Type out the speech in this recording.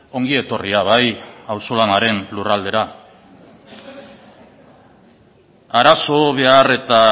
ongi etorria bai auzolanaren lurraldera arazo behar eta